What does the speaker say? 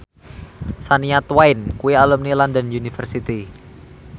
Shania Twain kuwi alumni London University